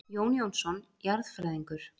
Jón Jónsson jarðfræðingur.